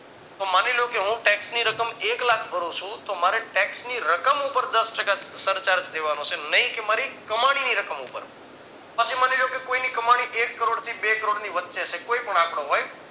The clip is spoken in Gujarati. તો માની લ્યો કે હું tax ની રકમ એક લાખ ભરું છું તો મારે tax ની રકમ ઉપર દસ ટકા સરચાર્જ દેવાનો છે નઈ કે મારી કમાણી ની રકમ ઉપર પછી મણિ લ્યો કે કોઈ ની કમાણી એક કરોડ થી બે કરોડની વચ્ચે છે કોઈ પણ આંકડો હોય